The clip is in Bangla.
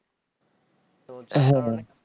হ্যাঁ ভাই